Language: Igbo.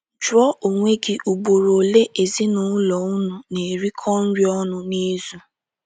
Jụọ onwe gị ugboro ole ezinụlọ unu na - erikọ nri ọnụ n’izu.